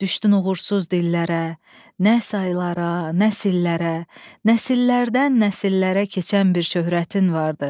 Düşdün uğursuz dillərə, nə saylara, nəsillərə, nəsillərdən nəsillərə keçən bir şöhrətin vardı.